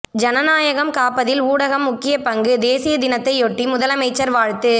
ஜனநாயகம் காப்பதில் ஊடகம் முக்கிய பங்கு தேசிய தினத்தையொட்டி முதலமைச்சர் வாழ்த்து